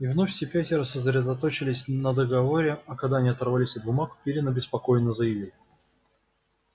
и вновь все пятеро сосредоточились на договоре а когда они оторвались от бумаг пиренн обеспокоенно заявил